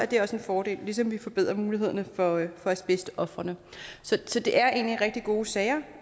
det også en fordel ligesom vi forbedrer mulighederne for for asbestofrene så det er egentlig rigtig gode sager